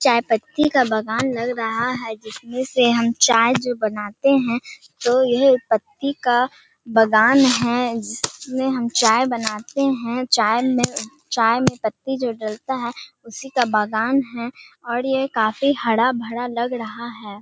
चाय पत्ती का बागान लग रहा है जिसमें से हम चाय जो बनाते हैं तो यह पत्ती का बागान है जिसमें हम चाय बनाते हैं चाय में चाय में जो पत्ती जो डालता है उसी का का बागान है और यह काफी हरा-भरा लग रहा है।